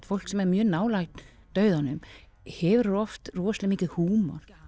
fólk sem er mjög nálægt dauðanum hefur oft rosalega mikinn húmor